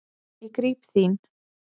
Ég gríp þín.